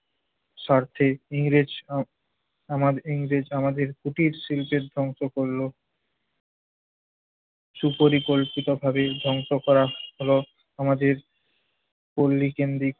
স্বার্থে ইংরেজ আহ আমার~ ইংরেজ আমাদের কুটির শিল্পের ধ্বংস করল। সুপরিকল্পিতভাবে ধ্বংস করা হলো আমাদের পল্লীকেন্দ্রিক